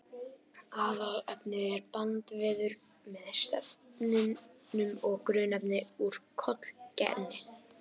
Aðalefnið er bandvefur með steinefnum og grunnefni úr kollageni.